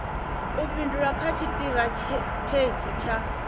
u fhindula kha tshitirathedzhi tsha